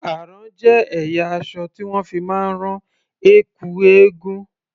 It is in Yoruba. Àrán jé ẹ̀yà aṣọ tí wón fi máa ń rán ẹ̀kú eégún.